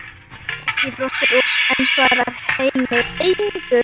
Og Beggi brosir, en svarar henni engu.